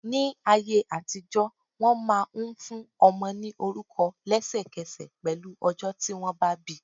Ní ayé àtijọ́, wọn máa ń fún ọmọ ní orúkọ lesekese pẹ̀lú ọjọ́ tí wọn bá bi.